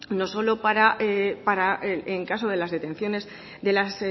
no solo para en caso de las detenciones de las